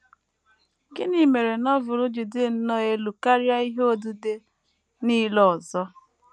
Gịnị mere Novel ji dị nnọọ elu karịa ihe odide nile ọzọ?